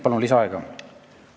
Palun lisaaega!